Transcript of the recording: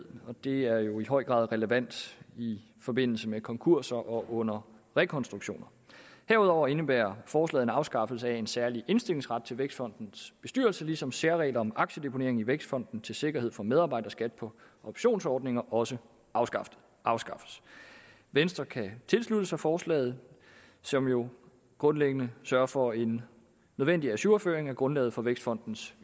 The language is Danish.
og det er jo i høj grad relevant i forbindelse med konkurser og under rekonstruktioner herudover indebærer forslaget en afskaffelse af en særlig indstillingsret til vækstfondens bestyrelse ligesom særregler om aktiedeponering i vækstfonden til sikkerhed for medarbejderskat på optionsordninger også afskaffes afskaffes venstre kan tilslutte sig forslaget som jo grundlæggende sørger for en nødvendig ajourføring af grundlaget for vækstfondens